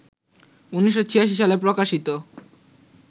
১৯৮৬ সালে প্রকাশিত